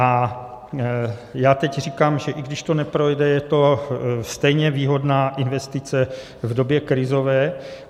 A já teď říkám, že i když to neprojde, je to stejně výhodná investice v době krizové.